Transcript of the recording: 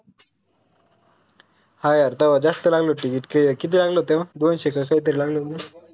हा यार तवा जास्त लागलं होत ticket किती किती लागलं होत तेव्हा दोनशे असं काहीतरी लागलं होत.